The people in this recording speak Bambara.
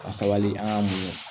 Ka sabali an k'an mun